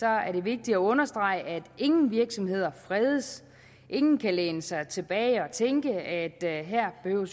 er det vigtigt at understrege at ingen virksomheder fredes ingen kan læne sig tilbage og tænke at her behøver